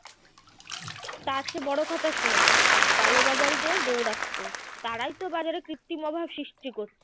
তার চেয়ে বড় কথা শোন কালোবাজারিদের দৌরাত্ম্য তারাই তো বাজারে কৃত্রিম অভাব সৃষ্টি করছে